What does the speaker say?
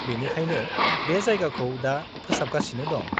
बेनिखायनो बे जायगाखौ दा फोसाबगासिनो दं।